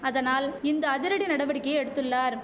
அதனால் இந்த அதிரடி நடவடிக்கையை எடுத்துள்ளார்